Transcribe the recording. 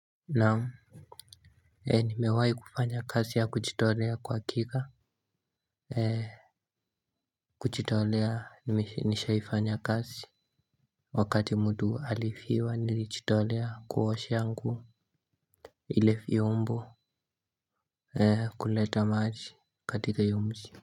Naam. Nimewahi kufanya kazi ya kujitolea kwa hakika. Kujitolea nishaifanya kazi. Wakati mtu alifiwa nilijitolea kuosha nguo. Ile vyombo kuleta maji katika hiyo mji.